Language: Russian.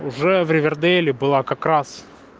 уже в ривердейле была как раз